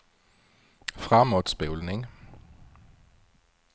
framåtspolning